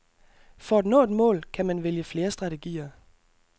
For at nå et mål kan man vælge flere strategier.